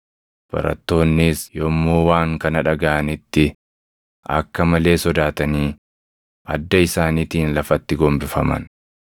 Barattoonnis yommuu waan kana dhagaʼanitti akka malee sodaatanii adda isaaniitiin lafatti gombifaman.